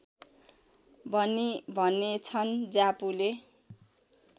भनी भनेछन् ज्यापूले